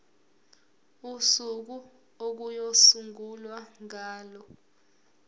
usuku okuyosungulwa ngalo